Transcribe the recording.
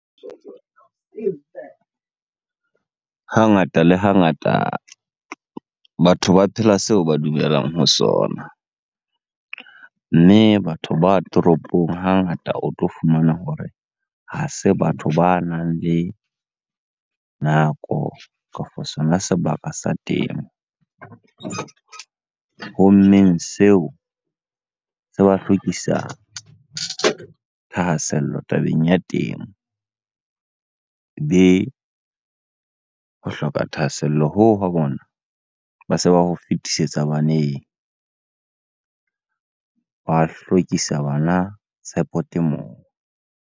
Hangata le hangata, batho ba phela seo ba dumelang ho sona. Mme batho ba toropong hangata o tlo fumana hore ha se batho banang le nako, kafo sona sebaka sa temo. Ho mmeng seo, se ba hlwekisa thahasello tabeng ya temo. Be! Ho hloka thahasello hoo wa bona, ba se ba ho fetisetsa baneng. Ba hlwekisa bana tshepo temong.